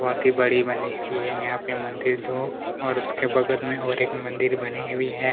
बहोत ही बड़ी बनी हुई है यहाँ पे मंदिर जो और उसके बगल में और एक मंदिर बनी हुई है।